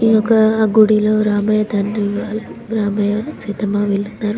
ఈయొక్క గుడిలో రామయ్య తండ్రి ఉన్నారు రామయ్య సీతమ్మ వాళ్లిదరు --.